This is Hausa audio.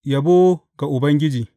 Yabo ga Ubangiji.